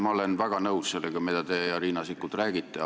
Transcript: Ma olen väga nõus sellega, mida teie ja Riina Sikkut räägite.